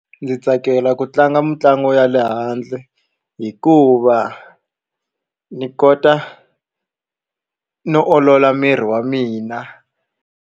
Ndzi tsakela ku tlanga mitlangu ya le handle hikuva ndzi kota no olola miri wa mina.